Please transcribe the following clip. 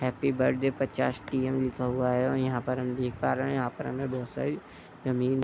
happy birthday पचास T M लिखा हुआ है और यहाँ पर हम देख पा रहे है यहाँ पर हमें बहोत सारी जमीन --